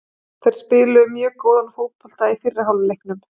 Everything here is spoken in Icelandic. Þeir spiluðu mjög góðan fótbolta í fyrri hálfleiknum.